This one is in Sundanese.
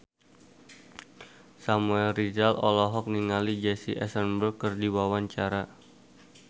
Samuel Rizal olohok ningali Jesse Eisenberg keur diwawancara